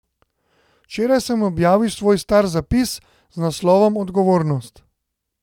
Včeraj sem objavil svoj star zapis z naslovom odgovornost.